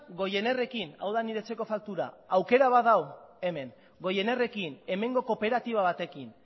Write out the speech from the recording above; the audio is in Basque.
goienerrekin hau da nire etxeko faktura aukera bat dago hemen goinerrekin hemengo kooperatiba batekin